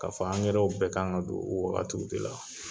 Ka fɔ bɛɛ kan ka don, o wagatiw de la.